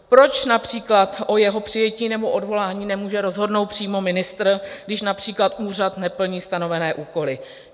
Proč například o jeho přijetí nebo odvolání nemůže rozhodnout přímo ministr, když například úřad neplní stanovené úkoly?